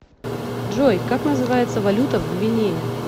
джой как называется валюта в гвинее